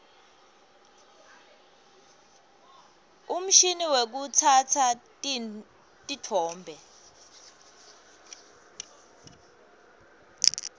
umshini wekutsatsa titfombe